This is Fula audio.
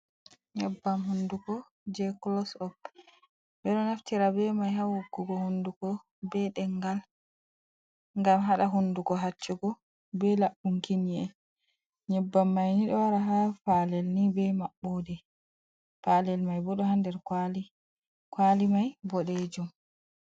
Nyebbam hunduko je kulo sop ɓeɗo naftira be mai ha woggugo hunduko be ɗemgal ngam haɗa hunduko hacchugo be laɓɓunki yi'e. Nyebbam mai ni ɗo wara ha palel ni be maɓɓode palel mai bo ɗo ha nder kwali, kwali mai boɗejum.